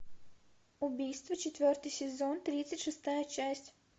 убийство четвертый сезон тридцать шестая часть